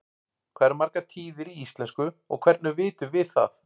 hvað eru margar tíðir í íslensku og hvernig vitum við það